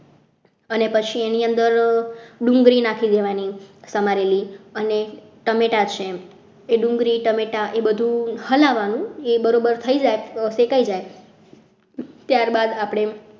અને પછી એની અંદર ડુંગળી નાખી દેવાની સમારેલી અને ટામેટા છે એ ડુંગળી ટામેટા એ બધું હલાવવાનું એ બરાબર થઈ જાય શેકાઈ જાય ત્યારબાદ આપણે